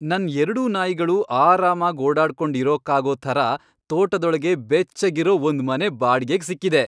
ನನ್ ಎರ್ಡೂ ನಾಯಿಗಳು ಆರಾಮಾಗ್ ಓಡಾಡ್ಕೊಂಡ್ ಇರೋಕ್ಕಾಗೋ ಥರ ತೋಟದೊಳಗೆ ಬೆಚ್ಚಗಿರೋ ಒಂದ್ಮನೆ ಬಾಡ್ಗೆಗ್ ಸಿಕ್ಕಿದೆ.